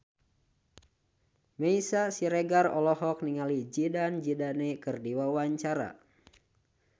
Meisya Siregar olohok ningali Zidane Zidane keur diwawancara